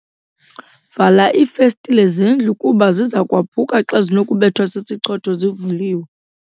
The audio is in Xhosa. Vala iifestile zendlu kuba ziza kwaphuka xa zinokubethwa sisichotho zivuliwe.